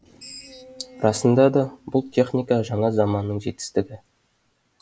расында да бұл техника жаңа заманның жетістігі